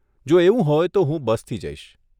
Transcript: જો એવું હોય તો હું બસથી જઈશ.